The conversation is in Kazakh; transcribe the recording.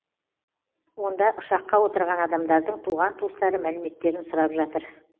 онда ұшаққа отырған адамдардың туған туыстары мәліметтерін сұрап жатыр